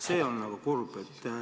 See on nagu kurb.